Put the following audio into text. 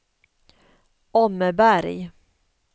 Åmmeberg